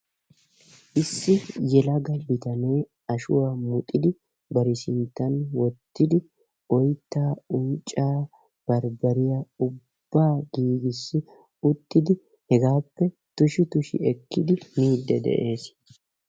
issi yelaga bitanee ashuwa muxxidi bar sinttan wottidi oytta, uncca, barbbariya ubbaa giigis uttidi hegaappe tushi tushi ekkidi miidde de'ees.